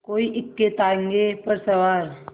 कोई इक्केताँगे पर सवार